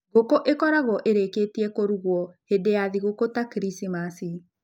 Ngũkũ ĩkoragwo ĩrĩkĩtie kũhũrwo hĩndĩ ya thigũkũ ta Krismasi.